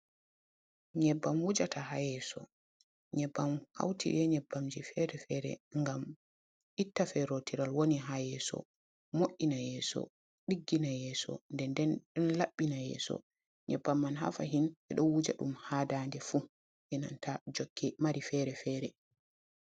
Nyebbam wujata ha yeso, nyebbam hauti e nyebbamji fere-fere ngam itta ferotiral woni ha yeso, mo’ina yeso, diggina yeso, nden den laɓɓina yeso nyebbam man ha fahin ɓeɗo wuja ɗum ha Dande fu enanta jokke mari fere-fere.